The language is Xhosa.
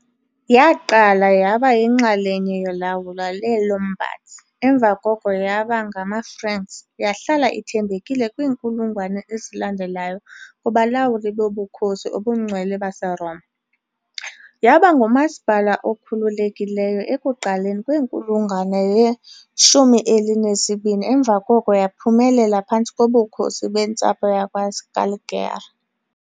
Yaqala yaba yinxalenye yolawulo lweeLombards emva koko yaba ngamaFranks, yahlala ithembekile kwiinkulungwane ezalandelayo kubalawuli boBukhosi obuNgcwele baseRoma. Yaba ngumasipala okhululekileyo ekuqaleni kwenkulungwane ye-12 emva koko yaphumelela phantsi koBukhosi bentsapho yakwaScaligeri .